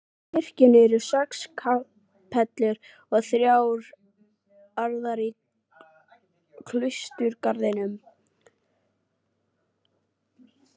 Í kirkjunni eru sex kapellur og þrjár aðrar í klausturgarðinum.